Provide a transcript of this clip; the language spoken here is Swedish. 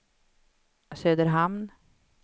Söderhamn